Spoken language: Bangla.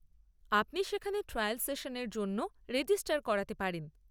আপনি সেখানে ট্রায়াল সেশানের জন্যও রেজিস্টার করাতে পারেন।